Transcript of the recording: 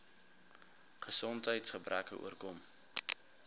gesondheids gebreke oorkom